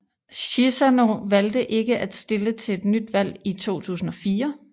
Chissano valgte ikke at stille til et nyt valg i 2004